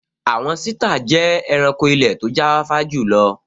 Àwọn sítà jẹ́ ẹranko ilẹ̀ tó jáfáfá jùlọ